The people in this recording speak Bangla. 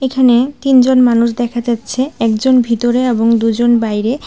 এখানে তিনজন মানুষ দেখা যাচ্ছে একজন ভিতরে এবং দুজন বাইরে।